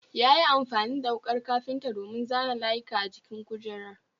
Yayi amfani da wukar kafinta domin zana layuka a jikin kujerar